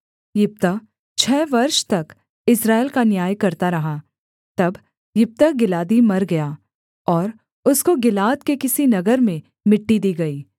यिप्तह छः वर्ष तक इस्राएल का न्याय करता रहा तब यिप्तह गिलादी मर गया और उसको गिलाद के किसी नगर में मिट्टी दी गई